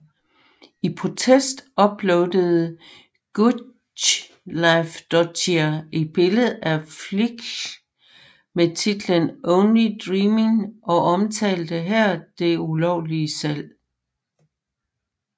I protest uploadede Guðleifsdóttir et billede på Flickr med titlen Only Dreemin og omtalte her det ulovlige salg